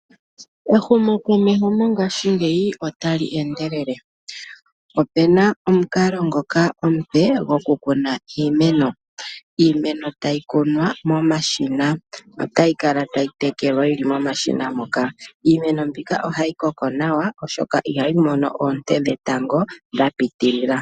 Ehumo komesho mongashingeyi otali endelele opena omukalo ngoka omupe gokukuna iimeno, iimeno tayi kunwa momashina otayi kala tayitekelwa momashina moka iimeno mbika ohayi koko nawa oshoka ihayi mono oonte dhetango dhapitilila.